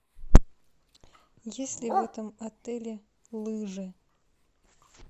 есть ли в этом отеле лыжи